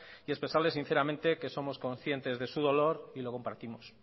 y expresarle sinceramente que somos conscientes de su dolor y lo compartimos